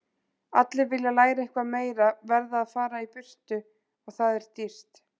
Allir sem vilja læra eitthvað meira verða að fara í burtu og það er dýrt